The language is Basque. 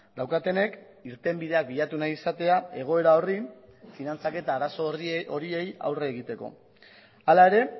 daukatenek irtenbidea bilatu nahi izatea egoera horri finantzaketa arazo horiei aurre egiteko hala ere